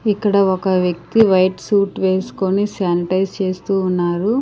ఇక్కడ ఒక వ్యక్తి వైట్ సూట్ వేసుకొని స్యనిటైజ్ చేస్తూ ఉన్నారు.